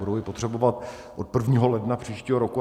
Budou ji potřebovat od 1. ledna příštího roku.